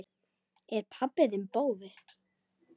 Er pabbi þinn bófi?